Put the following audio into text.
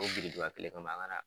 O birikiba kelen kama, an ka na